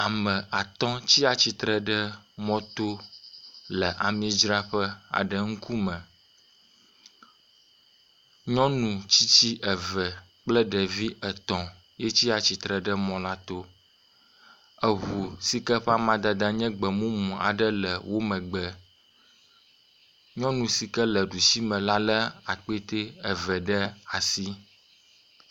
Ame atɔ̃ tsi atsitre ɖe mɔto le amidzraƒe aɖe ŋkume. Nyɔnu tsitsi eve kple ɖevi etɔ̃ yetsi atsitre ɖe mɔ la to. Eŋu si ke ƒe amadede nye gbemu mu aɖe le wo megbe. Nyɔnu si ke le ɖusi me la lé kpete eve ɖe asi ɖusi.